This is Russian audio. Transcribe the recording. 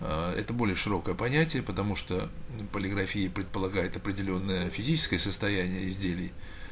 ээ это более широкое понятие потому что полиграфия предполагает определённое физическое состояние изделий